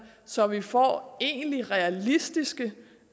så vi får egentlig realistiske